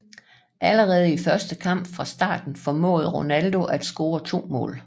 Allerede i sin første kamp fra start formåede Ronaldo at score to mål